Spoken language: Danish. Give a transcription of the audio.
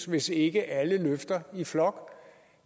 hvis ikke alle løfter i flok